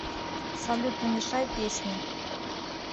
салют намешай песни